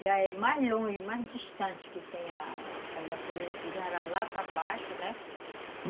Já é mais longe, mais distante que tem a... Já era lá para baixo, né?